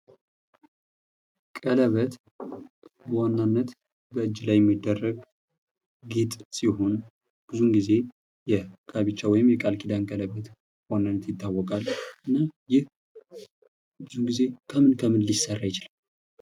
ቀለበት በዋናነት እጅ ላይ የሚደረግ ጌጥ ሲሆን ብዙ ጊዜ የጋብቻ ወይም የቃል ኪዳን ቀለበት በዋናነት ይታወቃል። እና ይህ ብዙ ጊዜ ከምን ከምን ሊሰራ ይችላል?